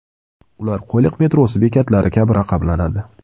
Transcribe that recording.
Ular Qo‘yliq metrosi bekatlari kabi raqamlanadi .